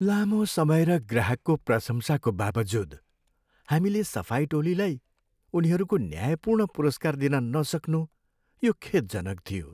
लामो समय र ग्राहकको प्रशंसाको बावजुद, हामीले सफाई टोलीलाई उनीहरूको न्यायपूर्ण पुरस्कार दिन नसक्नु यो खेदजनक थियो।